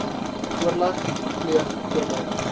oorleg pleeg voordat